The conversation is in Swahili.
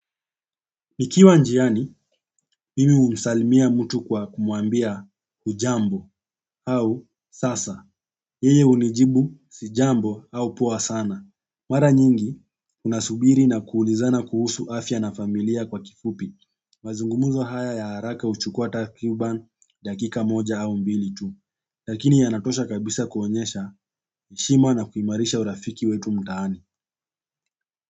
Nikiwa njiani, mimi humsalimia mtu kwa kumwambia hujambo au sasa. Yeye hunijibu sijambo au poa sana. Mara nyingi, unasubiri na kuulizana kuhusu afya na familia kwa kifupi. Mazungumzo haya ya haraka huchukua takriban dakika moja au mbili tu lakini yanatosha kabisa kuonyesha heshima na kuimarisha urafiki wetu mtaani.